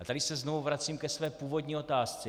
A tady se znovu vracím ke své původní otázce.